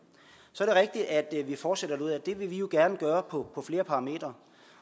så er det rigtigt at vi fortsætter derudad det vil vi jo gerne gøre på flere parametre